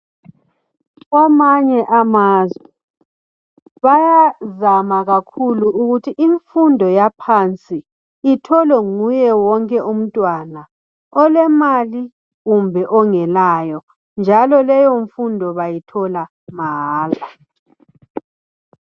Kwamanye amazwe bayavama kakhulu ukuthi imfundo yaphansi itholwe nguye wonke umntwana, olemali kumbe ongelayo, njalo leyomfundo bayithola mahala.